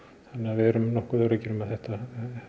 við erum nokkuð öruggir með að þetta